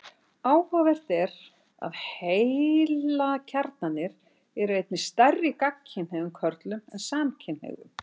Áhugavert er að heilakjarnarnir eru einnig stærri í gagnkynhneigðum körlum en samkynhneigðum.